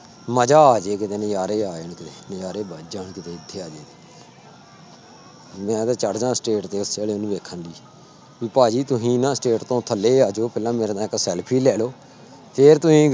ਮਜ਼ਾ ਆ ਜਾਏ ਕਿਤੇ ਨਜ਼ਾਰੇ ਆ ਜਾਣ ਕਿ ਨਜ਼ਾਰੇ ਬੱਝ ਜਾਣ ਕਿਤੇ ਇੱਥੇ ਆ ਜਾਏ ਮੈਂ ਤਾਂ ਚੜ੍ਹ ਜਾਂ stage ਦੇ ਉੱਤੇ ਉਹਨੂੰ ਵੇਖਣ ਲਈ ਵੀ ਭਾਜੀ ਤੁਸੀਂ ਨਾ stage ਤੋਂ ਥੱਲੇ ਆ ਜਾਓ ਪਹਿਲਾਂ ਮੇਰੇ ਨਾਲ ਇੱਕ ਸੈਲਫ਼ੀ ਲੈ ਲਓ, ਫਿਰ ਤੁਸੀਂ